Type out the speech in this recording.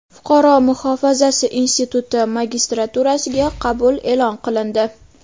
Fuqaro muhofazasi instituti magistraturasiga qabul e’lon qilindi.